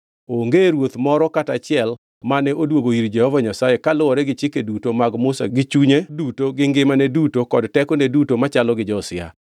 Onge ruoth moro kata achiel mane odwogo ir Jehova Nyasaye kaluwore gi chike duto mag Musa gi chunye duto gi ngimane duto kod tekone duto machalo gi Josia.